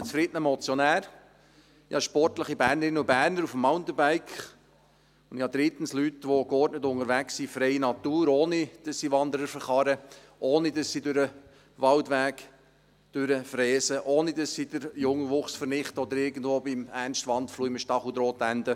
Ich habe einen zufriedenen Motionär, ich habe sportliche Bernerinnen und Berner auf dem Mountainbike, und ich habe drittens Leute, die geordnet unterwegs sind in freier Natur, ohne dass sie Wanderer überfahren, ohne dass sie durch einen Waldweg rasen, ohne dass sie den Jungwuchs vernichten oder irgendwo bei Ernst Wandfluh in einem Stacheldraht enden.